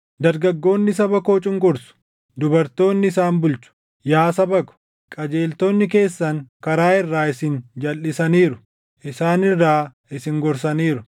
Dargaggoonni saba koo cunqursu; dubartoonni isaan bulchu. Yaa saba ko, qajeelchitoonni keessan karaa irraa isin jalʼisaniiru; isaan irraa isin gorsaniiru.